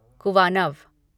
कुवानव